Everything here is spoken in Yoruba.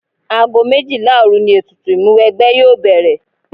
Ago méjìlá òru ni ètùtù Ìmúwẹgbẹ́ yóò bẹ̀rẹ̀